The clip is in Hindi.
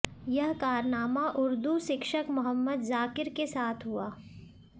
यह कारनामा उर्दू शिक्षक मोहम्मद जाकिर के साथ हुआ